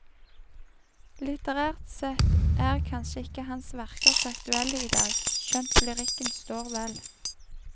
Litterært sett er kanskje ikke hans verker så aktuelle i dag, skjønt lyrikken står vel.